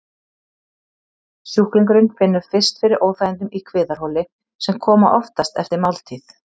Sjúklingurinn finnur fyrst fyrir óþægindum í kviðarholi, sem koma oftast eftir máltíð.